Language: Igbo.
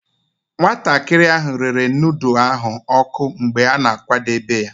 Nwatakịrị ahụ rere nudu ahụ oku mgbe ọ na-akwadebe ya.